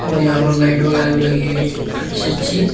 और यहां पर लाइट वगैराह लगी हुई है अच्छी अच्छी --